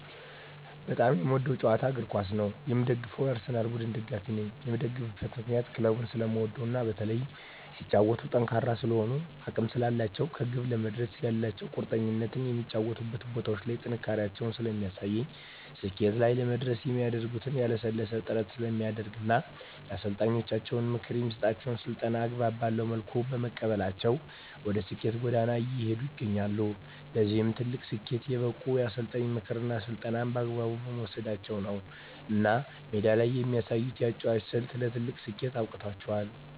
በጣም የምወደዉ ጨዋታ እግርኳስ ነዉ የምደግፈዉም የአርሰላን ቡድን ደጋፊ ነኝ የምደግፍበት ምክንያት ክለቡን ስለምወደዉ እና በተለይም ሲጫወቱም ጠንካራ ስለሆኑ እና አቅም ስላላቸዉ ከግብ ለመድረስ ያላቸዉ ቁርጠኝነት በሚጫወቱባቸዉ ቦታዎች ላይ ጥንካሬያቸውን ስለሚያሳዩ ስኬት ላይ ለመድረስ የሚያደርጉት ያላለሰለሰ ጥረት ስለሚያደርጉ እና የአሰልጣኛቸዉን ምክር እና የሚሰጣቸዉን ስልጠና አግባብ ባለዉ መልኩ በመቀበላቸዉ ወደ ስኬት ጎዳና እየሄዱ ይገኛሉ ለዚህ ትልቅ ስኬት የበቁት የአሰልጣኝን ምክርና ስልጠና በአግባቡ መዉሰዳቸዉ ነዉ እና ሜዳ ላይ የሚያሳዩት የአጨዋወት ስልት ለትልቅ ስኬት አብቅቷቸዋል